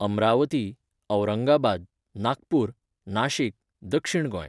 अम्रावती, औरंगाबाद, नागपूर, नाशीक, दक्षिण गोंय